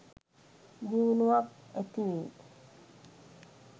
දියුණුවක් ඇතිවෙයි.